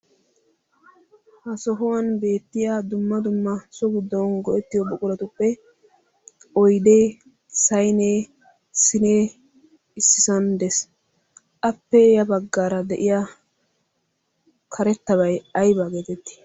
Ha sohuwan beettiya dumma dumma so giddon go'ettiyo buquratuppe oydee saynee siinee issisan de'ees. Appee ya baggaara de'iya karettabay aybaa geetetti?